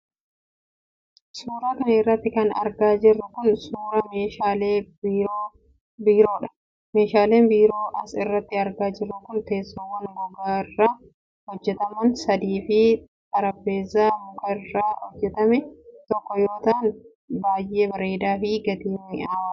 Suura kana irratti kan argaa jirru kun, suura meeshaalee biiroo dha. Meeshaaleen biiroo as irratti argaa jirru kun ,teessoowwan gogaa irraa hojjataman sadii fi xarapheezaa muka irraa hojjatame tokkoo yoo ta'an baay'ee bareedaa fi gatiin mi'aawoodha.